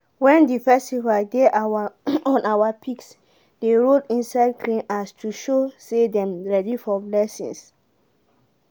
wen the festival dey on our pigs dey roll inside clean ash to show say dem ready for blessings.